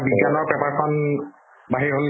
বিজ্ঞানৰ paper খন বাহিৰ হল